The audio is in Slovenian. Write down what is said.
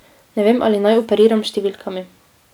Ne vem, ali naj operiram s številkami.